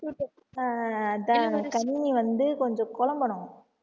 ஆஹ் கன்னி வந்து கொஞ்சம் குழம்பணும்